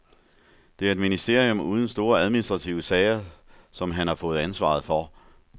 Det er et ministerium uden store administrative sager, som han får ansvaret for.